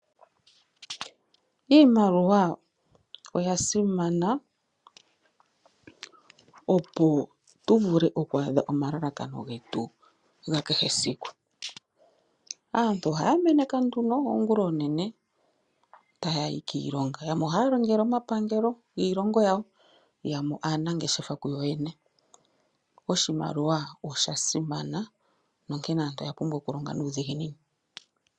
Iimaliwa oya simana, opo tu vule okwa adha omalalakano getu ga kehe siku. Aantu ohaya meneka oongulonene ta yayi kiilonga yamwe ohaya longeke omapangelo giilongo yawo, yamwe aanangeshefa kuyoyene. Oshimaliwa osha simana, onkene aantu oya pumbwa oku longa nuudhiginini.